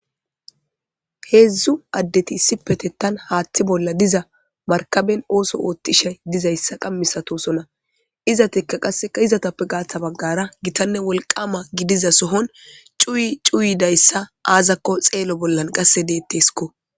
Hezdzdu adet issipetetan hathe bolla diza marikabeni ooso otishe dizaysa qasi misatosona , istika qaseka izetappe gata bagara gitanne wolqama gidiza sohon cuwidaysa azakon xeelo bolla qase detesko.